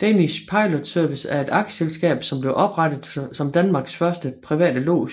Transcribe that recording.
Danish Pilot Service er et aktieselskab som blev oprettet som Danmarks første private lods